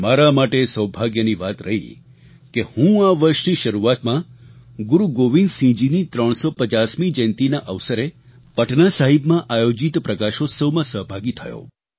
મારા માટે એ સૌભાગ્યની વાત રહી કે હું આ વર્ષની શરૂઆતમાં ગુરુ ગોવિંદસિંહજીની 350મી જયંતીના અવસરે પટનાસાહિબમાં આયોજિત પ્રકાશોત્સવમાં સહભાગી થયો